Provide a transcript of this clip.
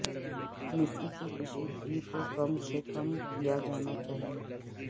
مٹی کی کشیدگی کو کم سے کم کیا جانا چاہئے